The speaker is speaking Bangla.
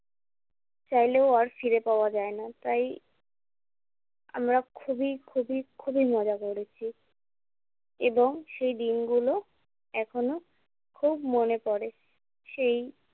চাইলেও আর ফিরে পাওয়া যায় না। তাই আমরা খুবই খুবই খুবই মজা করেছি। এবং সেই দিনগুলো এখনও খুব মনে পড়ে। সেই